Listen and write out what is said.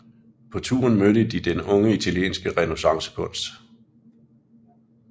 På turen mødte de den unge italienske renæssancekunst